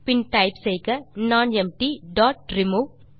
பின் type செய்க nonempty dot remove